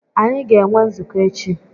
Anyị ga-enwe nzukọ echi.